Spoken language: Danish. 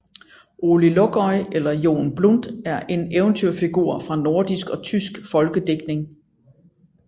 Ole Lukøje eller Jon Blund er en eventyrfigur fra nordisk og tysk folkedigtning